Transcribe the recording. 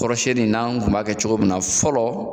Kɔrɔsɛni n'an kun b'a kɛ cogo min na fɔlɔ